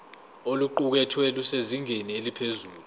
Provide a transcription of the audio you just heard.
oluqukethwe lusezingeni eliphezulu